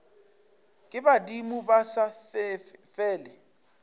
ke badimo ba sa fele